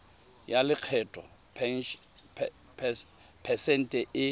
ya lekgetho phesente e